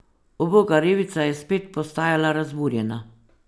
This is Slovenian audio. Uboga revica je spet postajala razburjena.